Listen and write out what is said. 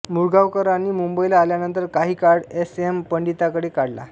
मुळगावकरांनी मुंबईला आल्यानंतर काही काळ एस एम पंडितांकडे काढला